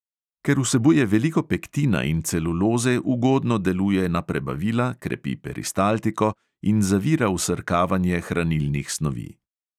Ker vsebuje veliko pektina in celuloze, ugodno deluje na prebavila, krepi peristaltiko in zavira vsrkavanje hranilnih snovi.